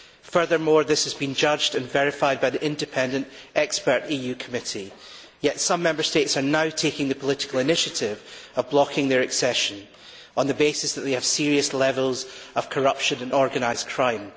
Furthermore, this has been judged and verified by the independent expert EU committee, yet some Member States are now taking the political initiative of blocking their accession on the basis that they have serious levels of corruption and organised crime.